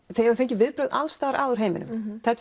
þið hafið fengið viðbrögð alls staðar að úr heiminum